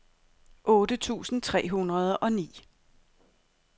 otte tusind tre hundrede og ni